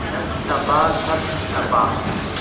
तप तपा तप तपा